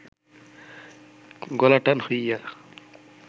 গলা টান হইয়া